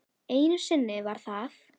Einu sinni var það